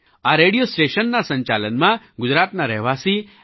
આ રેડિયો સ્ટેશનના સંચાલનમાં ગુજરાતના રહેવાસી એમ